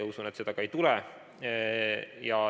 Usun, et seda ka ei tule.